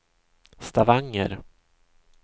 Stavanger